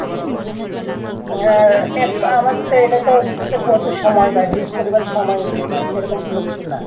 হ্যাঁ আমাদের তো এটা তো প্রচুর সময় ব্যয় Huge পরিমাণ সময় দিতে হচ্ছে এরকম কোনও কিছু না